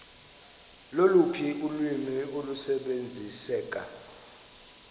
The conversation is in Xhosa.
loluphi ulwimi olusebenziseka